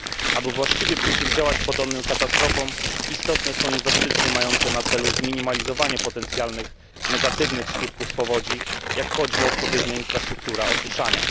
Aby właściwie przeciwdziałać podobnym katastrofom istotne są inwestycje mające na celu zminimalizowanie potencjalnych negatywnych skutków powodzi, jak choćby inwestycje w odpowiednią infrastrukturę osuszania.